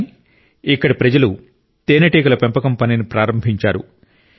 కానీ ఇక్కడి ప్రజలు తేనెటీగల పెంపకం పనిని ప్రారంభించారు